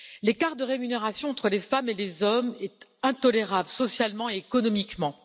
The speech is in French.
L'écart de rémunération entre les femmes et les hommes est intolérable socialement et économiquement.